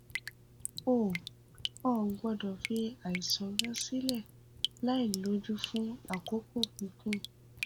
o ò gbódò fi àìsàn rẹ sílè láìlójú fún àkókò gígùn